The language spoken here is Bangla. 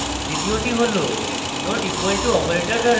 দ্বিতীয়টি হল: != নট equal to operator দ্বারা